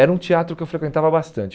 Era um teatro que eu frequentava bastante.